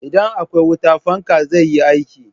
Idan akwai wuta, fanka zai yi aiki.